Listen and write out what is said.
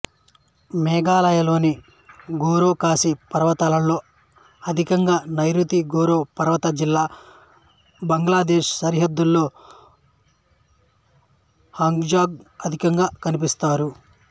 మేఘాలయలోని గారో ఖాసి పర్వతాలలో అధికంగా నైరుతి గారో పర్వత జిల్లా బంగ్లాదేశు సరిహద్దులో హజాంగు అధికంగా కనిపిస్తారు